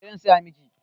Eh zan saya miki